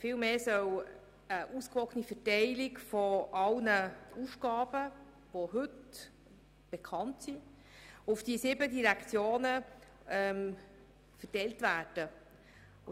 Vielmehr soll damit eine ausgewogene Verteilung aller Aufgaben, die heute bekannt sind, auf die sieben Direktionen erfolgen.